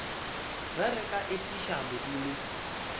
ge re ka etiša modimo